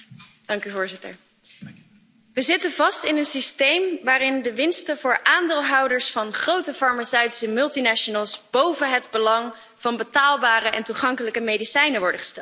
Voorzitter, we zitten vast in een systeem waarin de winsten voor aandeelhouders van grote farmaceutische multinationals boven het belang van betaalbare en toegankelijke medicijnen worden gesteld.